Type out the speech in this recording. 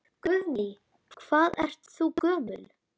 Guðný: Hvað ert þú gömul?